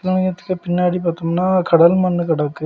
சிவ லிங்கத்துக்கு பின்னாடி பாத்தோம்னா கடல் மண்ணு கடக்கு.